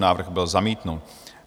Návrh byl zamítnut.